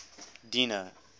dino